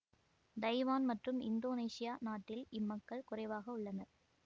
Taiwan மற்றும் Indonesia நாட்டில் இம்மக்கள் குறைவாக உள்ளனர்